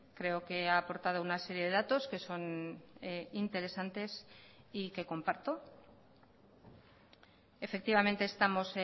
creo que ha aportado una serie de datos que son interesantes y que comparto efectivamente estamos